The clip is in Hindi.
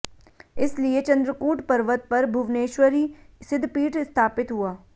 इस लिए चन्द्रकूट पर्वत पर भुवनेश्वरी सिद्धपीठ स्थापित हुआ